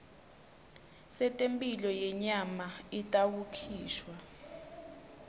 setemphilo yenyama itawukhishwa